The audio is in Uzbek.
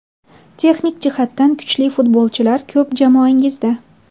Texnik jihatdan kuchli futbolchilar ko‘p jamoangizda.